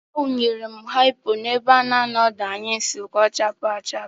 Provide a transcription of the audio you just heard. Awụnyere m haipo n'ebe a na-anọ ọdụ anyụ nsị ka ọ chaapụ achapụ.